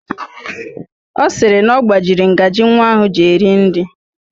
Ọ sịrị na ọ gbajiri ngaji nwa ahụ ji eri nri